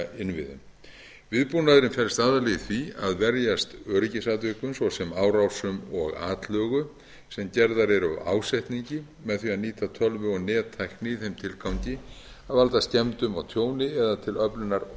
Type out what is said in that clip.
í upplýsingainnviðum viðbúnaðurinn felst aðallega í því að verjast öryggisatvikum svo sem árásum og atlögu sem gerðar eru af ásetningi með því að nýta tölvu og nettækni í þeim tilgangi að valda skemmdum og tjóni eða til öflunar